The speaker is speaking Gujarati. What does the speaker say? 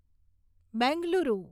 બેંગલુરુ